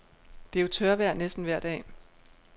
Det er jo tørvejr næsten vejr dag.